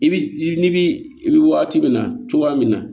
I bi i ni bi i bi waati min na cogoya min na